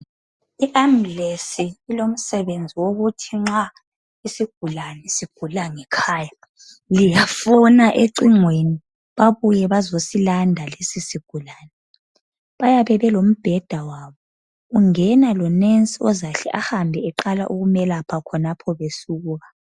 I ambulance ilomsebenzi wokuthi nxa isigulane sigula ngekhaya liyafona ecingweni babuye bazosilanda lesisigulane. Bayabe belombheda wabo, ungena lonesi ozahle ahambe eqala ukumelapha besuka.